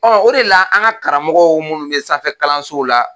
Ɔn, o de la an ka karamɔgɔw munnu sanfɛ kalansow la